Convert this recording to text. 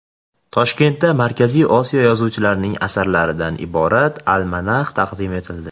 Toshkentda Markaziy Osiyo yozuvchilarining asarlaridan iborat almanax taqdim etildi.